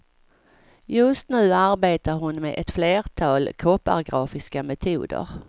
Just nu arbetar hon med ett flertal koppargrafiska metoder.